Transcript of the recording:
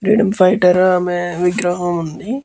Freedom fighter ఆమె విగ్రహం ఉంది.